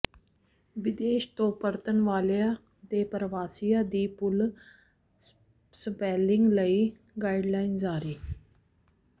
ਵਿਦੇਸ਼ ਤੋਂ ਪਰਤਣ ਵਾਲਿਆਂ ਤੇ ਪਰਵਾਸੀਆਂ ਦੀ ਪੂਲ ਸੈਂਪਲਿੰਗ ਲਈ ਗਾਈਡਲਾਈਨ ਜਾਰੀ